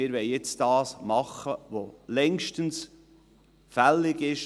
Wir wollen jetzt tun, was längstens fällig ist.